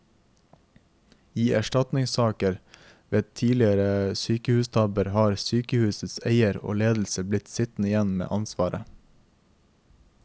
I erstatningssaker ved tidligere sykehustabber har sykehusets eier og ledelse blitt sittende igjen med ansvaret.